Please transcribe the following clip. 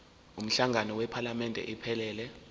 umhlangano wephalamende iphelele